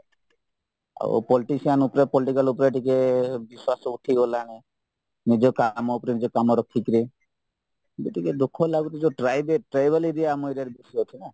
ଆଉ politician ଉପରେ political ଉପରେ ଟିକେ ବିଶ୍ୱାସ ଉଠିଗଲାଣି ନିଜ କାମ ଉପରେ ନିଜ କାମ ରଖିକିରି ଏବେ ଟିକେ ଦୁଃଖ ଲାଗୁଚି tribal area ଆମ area ରେ ବେଶୀ ଅଛିନା